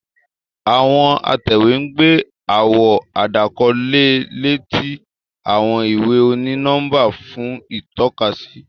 Àwọn atẹwe n gbé àwọn àdàkọ leè lé ti àwọn ìwé oni-nọmba fún itọkasi.